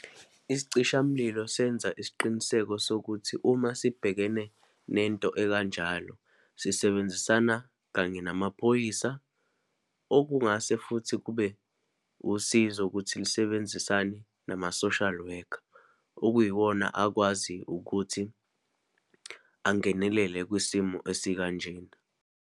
Isicishamlilo senza isiqiniseko sokuthi uma sibhekene nento ekanjalo, sisebenzisana kanye namaphoyisa okungase futhi kube usizo ukuthi lisebenzisane nama-social worker, okuyiwona akwazi ukuthi angenelele kwisimo esikanjena.